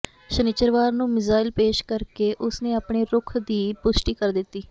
ਸ਼ਨਿਚਰਵਾਰ ਨੂੰ ਮਿਜ਼ਾਈਲ ਪੇਸ਼ ਕਰਕੇ ਉਸ ਨੇ ਆਪਣੇ ਰੁਖ਼ ਦੀ ਪੁਸ਼ਟੀ ਕਰ ਦਿੱਤੀ